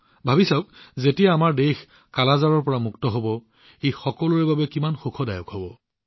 চিন্তা কৰক যেতিয়া আমাৰ দেশ কালা আজাৰৰ পৰা মুক্ত হব ই আমাৰ সকলোৰে বাবে আনন্দৰ বিষয় হব